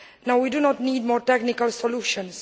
We do not need more technical solutions.